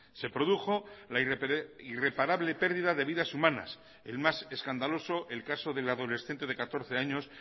se produjo la irreparable pérdida de vidas humanas el más escandaloso el caso del adolescente de catorce años